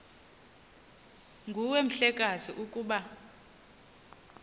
nguwe mhlekazi ukuba